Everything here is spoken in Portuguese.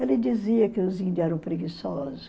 Ele dizia que os índios eram preguiçosos.